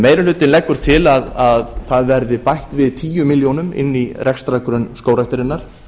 meiri hlutinn leggur til að það verði bætt við tíu milljónum inn í rekstrargrunn skógræktarinnar